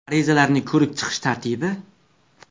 Arizalarni ko‘rib chiqish tartibi?